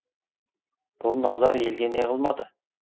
бұл назар елге не қылмады